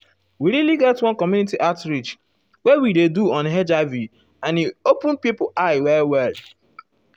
we really get one community outreach wey we do on hiv and e open pipo eyes well well.